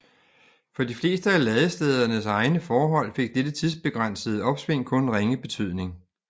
For de fleste af ladestederne egne forhold fik dette tidsbegrænsede opsving kun ringe betydning